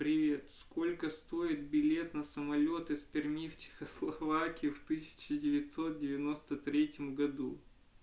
привет сколько стоит билет на самолёт из перми в чехословакию в тысяча девятьсот девяносто третьем году